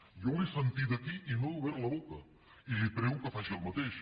jo l’he sentida aquí i no he obert la boca i li prego que faci el mateix